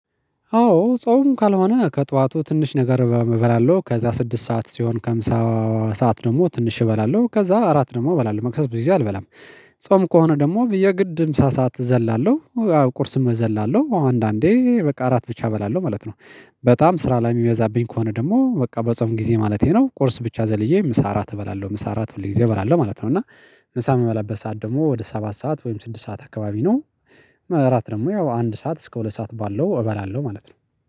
አዎ ጾም ካልሆነ ከጠዋቱ ትንሽ ነገር እበላለሁ ከዛ ስድስት ሰዓት ሲሆን ከምሳ ሰዓት ደግሞ ትንሽ እበላለሁ ከዛ አራት ደግሞ እበላለሁ መክሰስ ብዙ ጊዜ አልበላም። ጾም ከሆነ ደግሞ በየግድ ምሳ ሰዓት እዘላለሁ ቁርስም እዘላለሁ አንዳንዴ በቃ እራት ብቻ እበላለሁ ማለት ነው። በጣም ስራ ላይ የሚበዛብኝ ከሆነ ደግሞ በጾፍ ጊዜ ማለቴ ነው ቁርስ ብቻ ዘልዬ ምሳ እራት እበላለሁ ምሳ እራት ሁሌ ጊዜ እበላለሁ ማለት ነው። እና ምሳ የምበላበት ሰዓት ደግሞ ወደ ሰባት ሰዓት ወይም ስድስት ሰዓት አካባቢ ነው። እራት ደግሞ ያው አንድ ሰዓት እስከ ሁለት ሰዓት ባለው እበላለሁ ማለት ነው።